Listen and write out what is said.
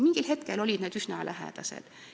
Mingil hetkel olid need arvud üsna lähedased.